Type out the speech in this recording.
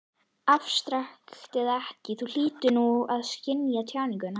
Afstrakt eða ekki, Þú hlýtur þó að skynja tjáninguna.